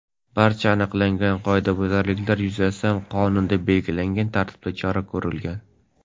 Barcha aniqlangan qoidabuzarliklar yuzasidan qonunda belgilangan tartibda chora ko‘rilgan.